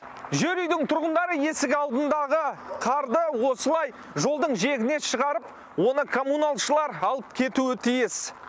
жер үйдің тұрғындары есік алдындағы қарды осылай жолдың жиегіне шығарып оны коммуналшылар алып кетуі тиіс